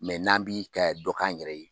n'an b'i ka dɔ k'an yɛrɛ ye